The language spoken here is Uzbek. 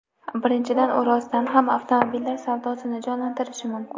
Birinchidan, u rostdan ham avtomobillar savdosini jonlantirishi mumkin.